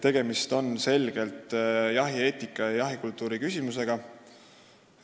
Tegemist on selgelt jahieetika ja jahikultuuri küsimusega.